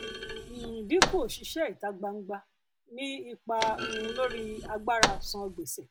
um ìdinku òṣìṣẹ ìta gbangba ní ipa um lórí agbára san gbèsè